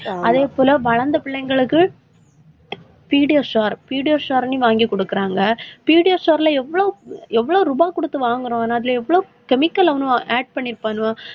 ஆஹ் அதே போல, வளர்ந்த பிள்ளைங்களுக்கு pediasure, pediasure ன்னு வாங்கி குடுக்குறாங்க. pediasure ல எவ்ளோ ரூபாய் கொடுத்து வாங்குறோம். அதுல எவ்வளவு chemical add பண்ணியிருப்பாங்க,